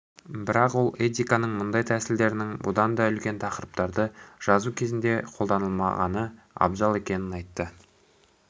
бірақ ол этиканың мұндай тәсілдерінің бұдан да үлкен тақырыптарды жазу кезінде қолданылмағаны абзал екенін айтты